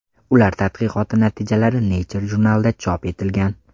Ular tadqiqoti natijalari Nature jurnalida chop etilgan .